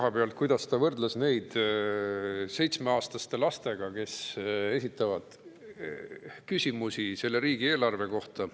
Kas või see, kuidas ta võrdles meid seitsmeaastaste lastega, kes esitavad küsimusi riigieelarve kohta.